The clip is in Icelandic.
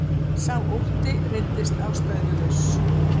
Sá ótti reyndist ástæðulaus